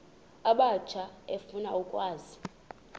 abatsha efuna ukwazi